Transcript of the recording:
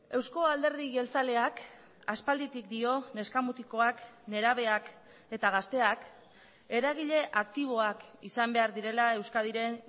eusko alderdi jeltzaleak aspalditik dio neska mutikoak nerabeak eta gazteak eragile aktiboak izan behar direla euskadiren